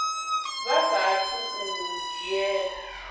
vha saathu u a dzhiela